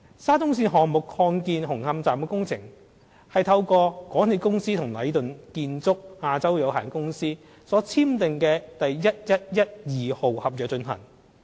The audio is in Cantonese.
沙中線項目擴建紅磡站的工程，是透過港鐵公司與禮頓建築有限公司所簽訂的第1112號合約進行。